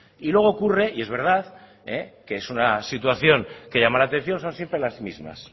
y luego ocurre y es verdad que es una situación que llama la atención son siempre las mismas